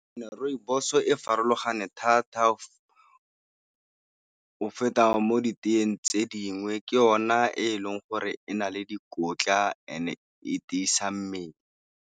Rooibos-o e farologane thata go feta mo di teeng tse dingwe. Ke yona e leng gore e na le dikotla e ne e tiisa mmele.